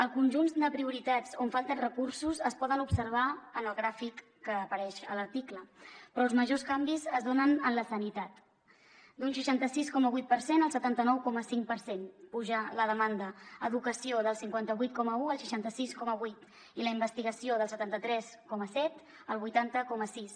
el conjunt de prioritats on falten recursos es poden observar en el gràfic que apareix a l’article però els majors canvis es donen en la sanitat d’un seixanta sis coma vuit per cent el setanta nou coma cinc per cent puja la demanda educació del cinquanta vuit coma un al seixanta sis coma vuit i la investigació del setanta tres coma set al vuitanta coma sis